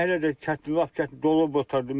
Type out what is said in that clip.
Hələ də lap çətin dolub otardıq.